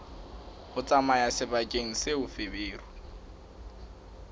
ho tsamaya sebakeng seo feberu